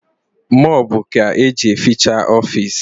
mopu ka eje eficha ofisi